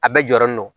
A bɛɛ jɔlen don